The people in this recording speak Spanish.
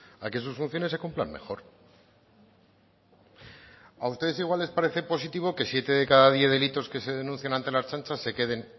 a que sus funciones se cumplan mejor a ustedes igual les parece positivo que siete de cada diez delitos que se denuncian ante la ertzaintza se queden